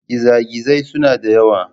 Gizagizai suna da yawa.